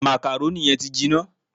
Màkàrónì yẹn ti jiná